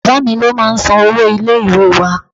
Bàbáà mi ló máa ń san owó ilé ìwée wá.